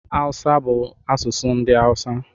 Haụsa bụ asụsụ ndị Haụsa